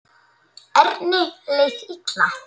Erni leið illa.